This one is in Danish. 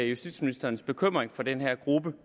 justitsministerens bekymring for den her gruppe